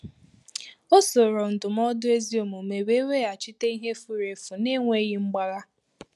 O soro ndụmọdụ ezi omume we weghachite ihe furu efu n’enweghị mgbagha